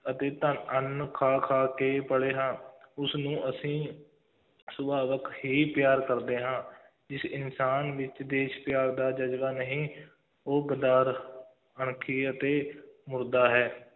ਅਤੇ ਧੰ~ ਅੰਨ੍ਹ ਖਾ-ਖਾ ਕੇ ਪਲੇ ਹਾਂ ਉਸਨੂੰ ਅਸੀਂ ਸੁਭਾਵਿਕ ਹੀ ਪਿਆਰ ਕਰਦੇ ਹਾਂ ਜਿਸ ਇਨਸਾਨ ਵਿੱਚ ਦੇਸ਼ ਪਿਆਰ ਦਾ ਜ਼ਜ਼ਬਾ ਨਹੀਂ, ਉਹ ਗਦਾਰ, ਅਣਖੀ ਅਤੇ ਮੁਰਦਾ ਹੈ,